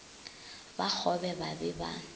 ba kgobe ba be ba